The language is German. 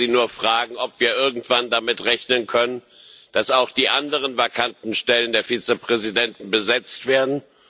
Ich wollte Sie nur fragen, ob wir irgendwann damit rechnen können, dass auch die anderen vakanten Stellen der Vizepräsidenten besetzt werden.